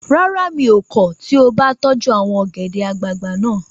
Rárá, mi ò kọ̀ tí o bá tọ́jú àwọn ọ̀gẹ̀dẹ̀ àgbagbà naa